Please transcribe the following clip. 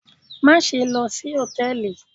Maṣe lọ si hòtẹ́ẹ̀lì